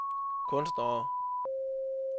kunstnere